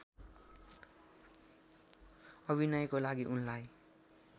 अभिनयको लागि उनलाई